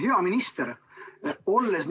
Hea minister!